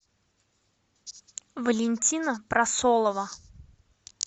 валентина просолова